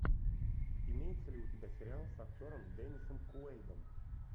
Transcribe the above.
имеется ли у тебя сериал с актером деннисом куэйдом